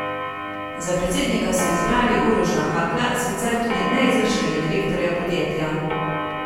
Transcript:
Za predsednika so izbrali Uroša Hakla, sicer tudi neizvršnega direktorja podjetja.